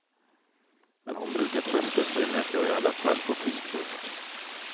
Men hon brukar trösta sej med att jag i alla fall får frisk luft.